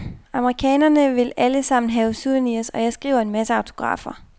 Amerikanerne vil alle sammen have souvenirs, og jeg skriver en masse autografer.